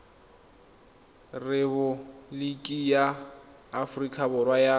repaboliki ya aforika borwa ya